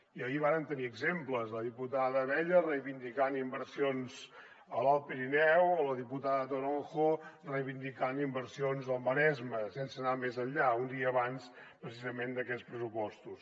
i ahir en vàrem tenir exemples la diputada abella reivindicant inversions a l’alt pirineu o la diputada toronjo reivindicant inversions al maresme sense anar més enllà un dia abans precisament d’aquests pressupostos